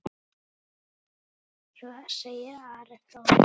Svo segir Ari fróði.